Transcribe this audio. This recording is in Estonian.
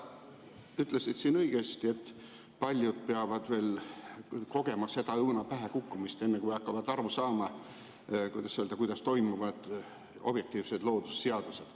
Sa ütlesid õigesti, et paljud peavad veel kogema õuna pähe kukkumist, enne kui hakkavad aru saama, kuidas toimivad objektiivsed loodusseadused.